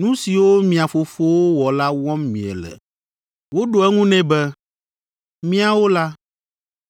Nu siwo mia fofo wɔ la wɔm miele.” Woɖo eŋu nɛ be, “Míawo la,